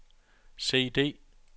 CD